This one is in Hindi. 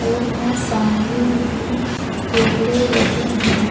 और इंहा सामने भी कैमरे लगे हैं ।